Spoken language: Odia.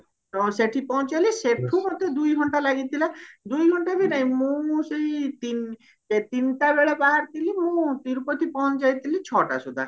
ସେଠି ପହଞ୍ଚିଗଲେ ସେଠୁ ମତେ ଦୁଇ ଘଣ୍ଟା ଲାଗିଥିଲା ଦୁଇ ଘଣ୍ଟା ବି ନାହିଁ ମୁଁ ସେଇ ତିନି ତିନିଟା ବେଳେ ବାହାରିଥିଲି ମୁଁ ତିରୁପତି ପହଞ୍ଚି ଯାଇହତିଲି ଛଟା ସୁଧା